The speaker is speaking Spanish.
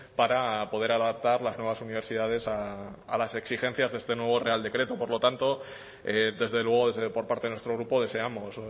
para poder adaptar las nuevas universidades a las exigencias de este nuevo real decreto por lo tanto desde luego por parte de nuestro grupo deseamos